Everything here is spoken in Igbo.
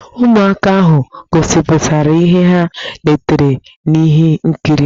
Ụmụaka ahụ gosipụtara ihe ha letere n'ihe nkiri.